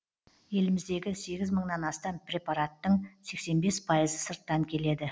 еліміздегі сегіз мыңнан астам препараттың сексен бес пайызы сырттан келеді